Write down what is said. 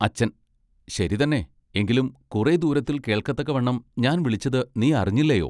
അച്ചൻ:--ശരി തന്നെ എങ്കിലും കുറെ ദൂരത്തിൽ കേൾക്കത്തക്കവണ്ണം ഞാൻ വിളിച്ചത് നീ അറിഞ്ഞില്ലയൊ.